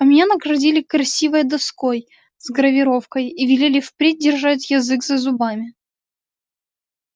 а меня наградили красивой доской с гравировкой и велели впредь держать язык за зубами